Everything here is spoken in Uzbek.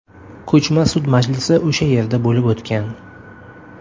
Ko‘chma sud majlisi o‘sha yerda bo‘lib o‘tgan.